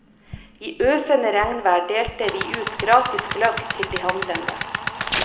I øsende regnvær delte vi ut gratis gløgg til de handlende.